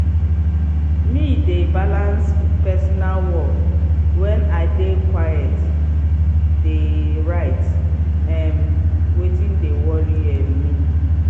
me de balans personal work wen i dey quite dey write um wetin de worry um me.